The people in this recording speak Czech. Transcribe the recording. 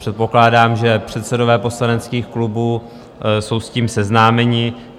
Předpokládám, že předsedové poslaneckých klubů jsou s tím seznámeni.